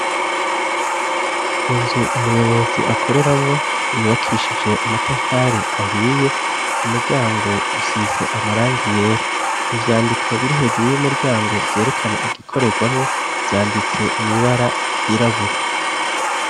Inzu umuyobozi akoreramwo, yubakishije amatafari ahiye, umuryango usize amarangi yera. Ivyandiko biri hejuru y'umuryango vyerekana igikoregwamwo vyanditse mw'ibara ry'irabura.